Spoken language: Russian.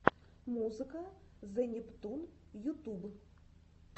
музыка зе нептун ютуб